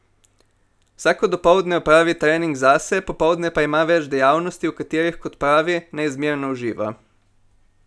Vsako dopoldne opravi trening zase, popoldne pa ima več dejavnosti, v katerih, kot pravi, neizmerno uživa.